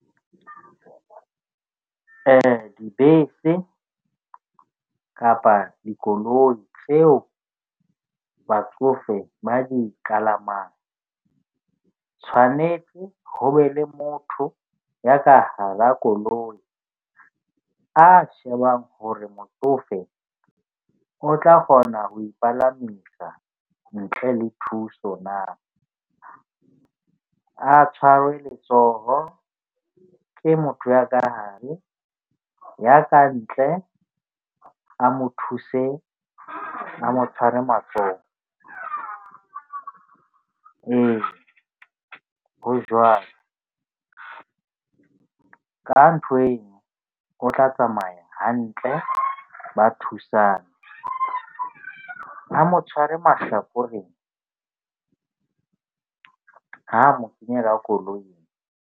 Dibese kapa dikoloi tseo batsofe ba di kalamang tshwanetse ho be le motho ya ka hara koloi a shebang hore motsofe o tla kgona ho ipalamisa ntle le thuso na. A tshwarwe letsoho ke motho ya ka hare, ya kantle a mo thuse a mo tshware matsoho. Ee, ho jwalo ka ntho eo, o tla tsamaya hantle ba , a mo tshware mahlakoreng ha mo kenya ka koloing.